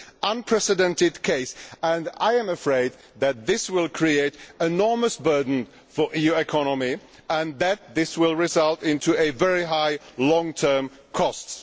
This is an unprecedented case and I am afraid that it will create an enormous burden for the EU economy and that it will result in very high long term costs.